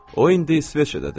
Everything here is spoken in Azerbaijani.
O indi İsveçrədədir.